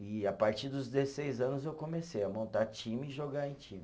E a partir dos dezesseis anos eu comecei a montar time e jogar em time.